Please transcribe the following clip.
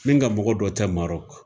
Min ka mɔgɔ dɔ tɛ Marɔku